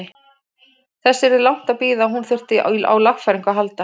Þess yrði langt að bíða að hún þyrfti á lagfæringum að halda.